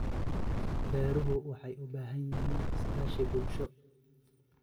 Beeruhu waxay u baahan yihiin iskaashi bulsho.